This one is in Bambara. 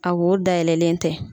A wo dayɛlɛlen tɛ.